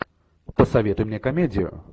посоветуй мне комедию